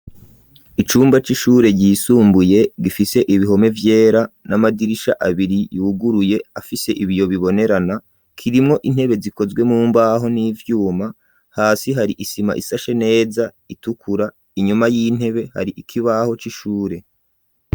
Icumba c'ishure ryisumbuye gifise ibihome vyera n'amadirisha abiri yuguruye afise ibiyo bibonerana kirimwo intebe zikozwe mumbaho n'ivyuma hasi hari isima isashe neza itukura inyuma y'intebe hari ikibaho c'ishure.